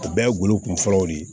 O bɛɛ ye golo kun fɔlɔw de ye